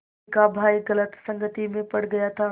रश्मि का भाई गलत संगति में पड़ गया था